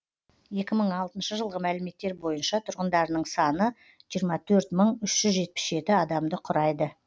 екі мың алтыншы жылғы мәліметтер бойынша тұрғындарының саны жиырма төрт мың үш жүз жетпіс жеті адамды құрайды